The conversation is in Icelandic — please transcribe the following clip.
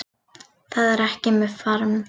Það er ekki með farm